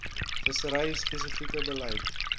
vissery spesifieke beleid